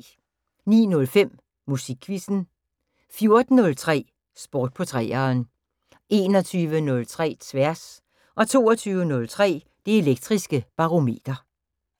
09:05: Musikquizzen 14:03: Sport på 3'eren 21:03: Tværs 22:03: Det Elektriske Barometer